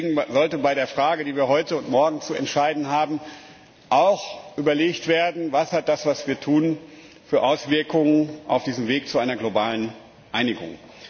Deswegen sollte bei der Frage die wir heute und morgen zu entscheiden haben, auch überlegt werden Welche Auswirkungen hat das, was wir tun, auf diesem Weg zu einer globalen Einigung?